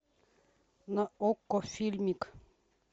на окко фильмик